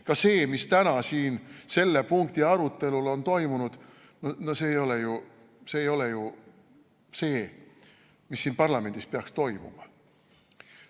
Ka see, mis täna siin selle punkti arutelul on toimunud, see ei ole ju see, mis siin parlamendis peaks toimuma.